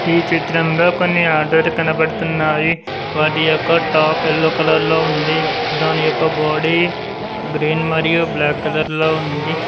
ఈ చిత్రంలో కొన్ని ఆటోలు కనబడుతున్నాయి వాటి యొక్క టాప్ ఎల్లో కలర్ లో ఉంది దాని యొక్క బాడీ గ్రీన్ మరియు బ్లాక్ కలర్ లో ఉంది.